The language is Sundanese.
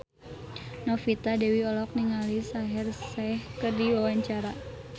Novita Dewi olohok ningali Shaheer Sheikh keur diwawancara